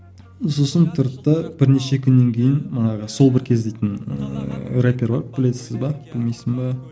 сосын тұрды да бірнеше күннен кейін манағы сол бір кез дейтін ііі рэпер бар білесіз бе білмейсің бе